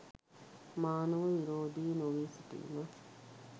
මානව විරෝධී නොවී සිටීම